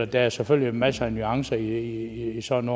der er selvfølgelig masser af nuancer i sådan